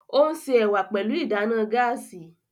O n se ẹwà pẹlu ìdáná gaasi